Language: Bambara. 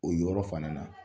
O yɔrɔ fana na